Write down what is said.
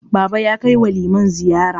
Baba ya kai wa liman ziyara.